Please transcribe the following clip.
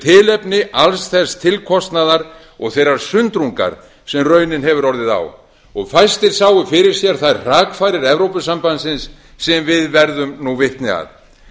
tilefni alls þess tilkostnaðar og þeirrar sundrungar sem raunin hefur orðið á fæstir sáu fyrir sér þær hrakfarir evrópusambandsins sem við verðum nú vitni að